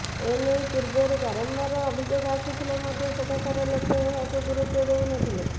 ଏ ନେଇ ପୂର୍ବରୁ ବାରମ୍ବାର ଅଭିଯୋଗ ଆସୁଥିଲେ ମଧ୍ୟ ସେଠାକାର ଲୋକେ ଏହାକୁ ଗୁରୁତ୍ୱ ଦେଉ ନ ଥିଲେ